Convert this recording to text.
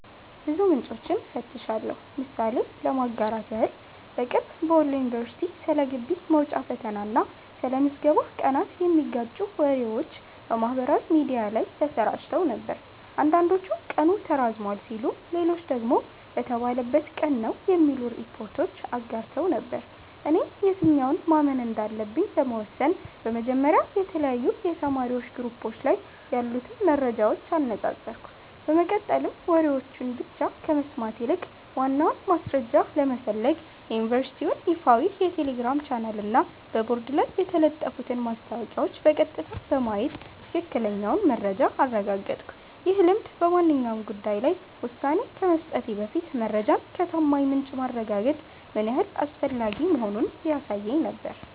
ብዙ ምንጮችን እፈትሻለሁ። ምሳሌ ለማጋራት ያህል፦ በቅርቡ በወሎ ዩኒቨርሲቲ ስለ ግቢ መውጫ ፈተና እና ስለ ምዝገባ ቀናት የሚጋጩ ወሬዎች በማህበራዊ ሚዲያ ላይ ተሰራጭተው ነበር። አንዳንዶች ቀኑ ተራዝሟል ሲሉ፣ ሌሎች ደግሞ በተባለበት ቀን ነው የሚሉ ሪፖርቶችን አጋርተው ነበር። እኔም የትኛውን ማመን እንዳለብኝ ለመወሰን በመጀመሪያ የተለያዩ የተማሪዎች ግሩፖች ላይ ያሉትን መረጃዎች አነጻጸርኩ፤ በመቀጠልም ወሬዎችን ብቻ ከመስማት ይልቅ ዋናውን ማስረጃ ለመፈለግ የዩኒቨርሲቲውን ይፋዊ የቴሌግራም ቻናልና በቦርድ ላይ የተለጠፉትን ማስታወቂያዎች በቀጥታ በማየት ትክክለኛውን መረጃ አረጋገጥኩ። ይህ ልምድ በማንኛውም ጉዳይ ላይ ውሳኔ ከመስጠቴ በፊት መረጃን ከታማኝ ምንጭ ማረጋገጥ ምን ያህል አስፈላጊ መሆኑን ያሳየኝ ነበር።